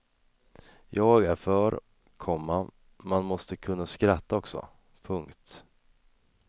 Jag är för, komma man måste kunna skratta också. punkt